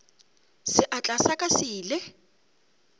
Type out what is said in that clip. seatla sa ka se ile